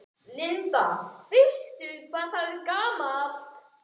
Linda: Veistu hvað það er gamalt?